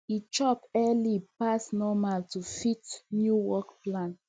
he chop early pass normal to fit new work plan